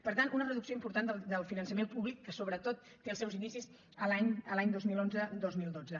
per tant una reducció important del finançament públic que sobretot té els seus inicis els anys dos mil onze dos mil dotze